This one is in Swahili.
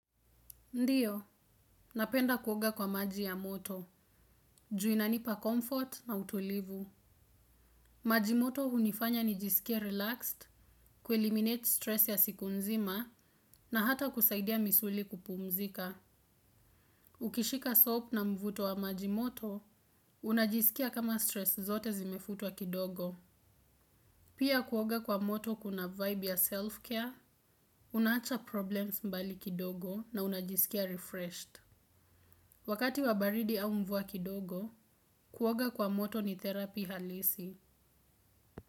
Ndiyo, napenda kuoga kwa maji ya moto, ju inanipa comfort na utulivu. Maji moto hunifanya nijisikie relaxed, kueliminate stress ya siku nzima na hata kusaidia misuli kupumzika. Ukishika soap na mvuto wa maji moto, unajisikia kama stress zote zimefutwa kidogo. Pia kuoga kwa moto kuna vibe ya self-care, unaacha problems mbali kidogo na unajisikia refreshed. Wakati wabaridi au mvua kidogo, kuoga kwa moto ni terapi halisi.